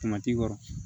Tomati kɔrɔ